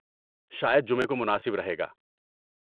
شاید جمعہ کومناسب رہے گا۔